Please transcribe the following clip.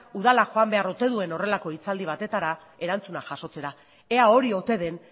udala joan behar ote duen horrelako hitzaldi batetara erantzuna jasotzera ea hori ote den